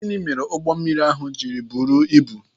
Gịnị mere ụgbọ mmiri ahụ ji buru ibu?